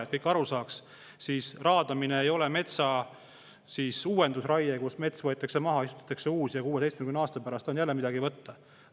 Et kõik saaks aru, siis raadamine ei ole metsa uuendusraie, kus mets võetakse maha, istutatakse uus ja 16 aasta pärast on jälle midagi võtta.